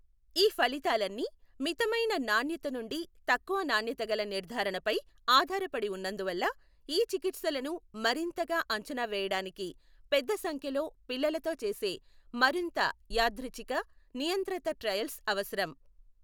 ఈ ఫలితాలన్నీ మితమైన నాణ్యత నుండి తక్కువ నాణ్యత గల నిర్ధారణపై ఆధారపడి ఉన్నందువల్ల ఈ చికిత్సలను మరింతగా అంచనా వేయడానికి పెద్ద సంఖ్యలో పిల్లలతో చేసే మరింత యాదృచ్ఛిక, నియంత్రిత ట్రయల్స్ అవసరం.